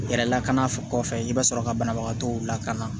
Yɛrɛ lakana fɛ kɔfɛ i bɛ sɔrɔ ka banabagatɔw lakana